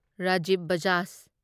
Rajiv Bajaj